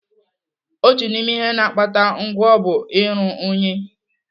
Otu n'ime ihe na-akpata ngwọ bụ iru unyi.